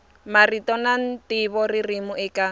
marito na ntivo ririmi eka